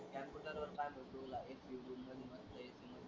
computer वर ,